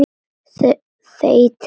Þeytið rjóma.